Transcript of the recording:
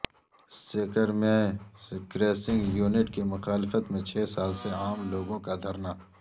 سیکر میں crushing unit کی مخالفت میں چھ سال سے عام لوگوں کا دھرنا